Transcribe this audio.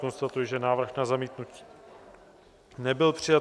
Konstatuji, že návrh na zamítnutí nebyl přijat.